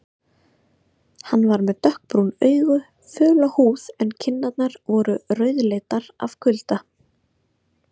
Hann var með dökkbrún augu, föla húð en kinnarnar voru rauðleitar af kulda.